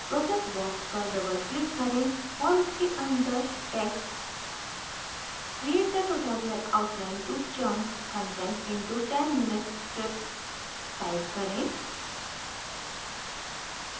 process box पर doubleclick करें और इसके अंदर text create the tutorial outline to chunk content into 10minute scripts type करें